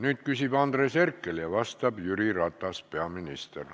Nüüd küsib Andres Herkel ja vastab peaminister Jüri Ratas.